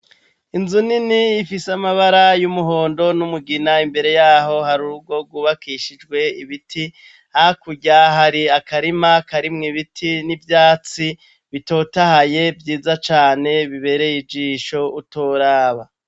Inzu nini ifise amabara y'umuhondo n'umugina imbere yaho hari urugo rwubakishijwe ibiti hakurya hari akarima karimwo ibiti n'ivyatsi bitotahaye vyiza cane bibereye ijisho utoraba.